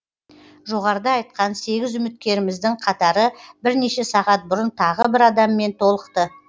жоғарыда айтқан сегіз үміткеріміздің қатары бірнеше сағат бұрын тағы бір адаммен толықты